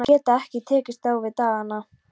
Hún að geta ekki tekist á við dagana.